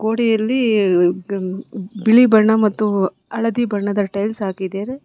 ನೋಡಿ ಅಲ್ಲಿ ಬಿಳಿ ಬಣ್ಣ ಮತ್ತು ಹಳದಿ ಬಣ್ಣದ ಟೈಲ್ಸ್ ಹಾಕಿದರೆ.